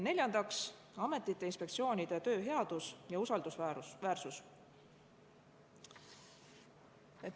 Neljandaks, ametite-inspektsioonide töö headus ja usaldusväärsus.